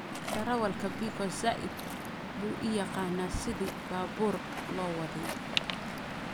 Darawlka Biko zaid buu uyaqana sidhi baburka lowadhey.